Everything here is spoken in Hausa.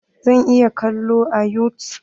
Zan iya kalo a yutub?